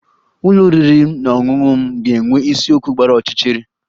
Ụlọ oriri na ọṅụṅụ m ga-enwe isiokwu gbara ọchịchịrị